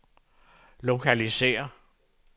lokalisér